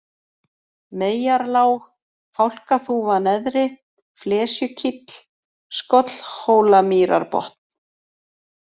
Meyjarlág, Fálkaþúfa neðri, Flesjukíll, Skollhólamýrarbotn